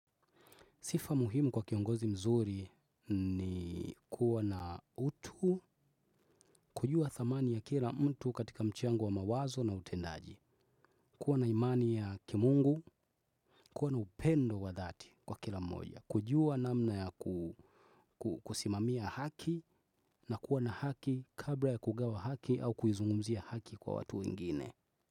Sifa muhimu kwa kiongozi mzuri ni kuwa na utu, kujua thamani ya kila mtu katika mchango wa mawazo na utendaji. Kuwa na imani ya kimungu, kuwa na upendo wa dhati kwa kila mmoja. Kujua namna ya kusimamia haki na kuwa na haki kabla ya kugawa haki au kuzungumzia haki mbele ya watu wengine.